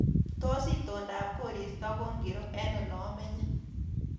Tos itondab koristo ko ngiro eng olamenye